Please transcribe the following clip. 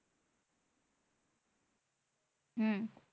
হম